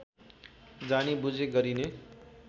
जानी बुझी गरिने